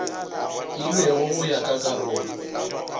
filwego go ya ka karolo